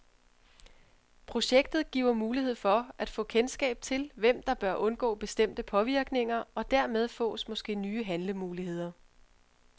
Projektet giver mulighed for at få kendskab til, hvem der bør undgå bestemte påvirkninger, og dermed fås måske nye handlemuligheder.